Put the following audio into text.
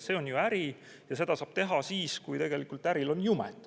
See on ju äri ja seda saab teha siis, kui äril on jumet.